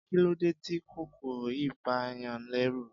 Kí ló dé tí kòkòrò yìí bàa yàn lẹ́rù.